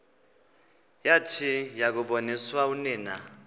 yathi yakuboniswa unina